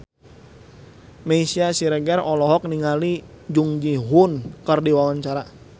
Meisya Siregar olohok ningali Jung Ji Hoon keur diwawancara